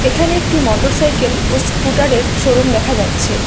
এখানে একটি motorcycle ও স্কুটারের শোরুম দেখা যাচ্ছে।